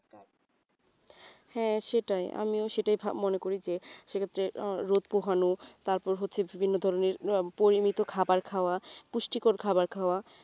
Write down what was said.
হ্যাঁ সেটাই আমিও সেটাই মনে করি যে সেক্ষেত্রে রোদ পোহানো তারপর হচ্ছে বিভিন্ন ধরনের পরিমিত খাবার খাওয়া পুষ্টিকর খাবার খাওয়া,